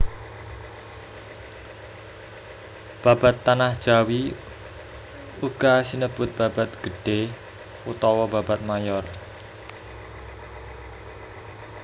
Babad Tanah Jawi uga sinebut babad gedhé utawa babad mayor